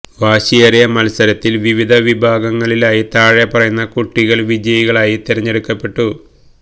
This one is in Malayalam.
വാശിയേറിയ മത്സരത്തിൽ വിവിധ വിഭാഗങ്ങളിലായി താഴെ പറയുന്ന കുട്ടികൾ വിജയികളായി തിരഞ്ഞെടുക്കപ്പെട്ടു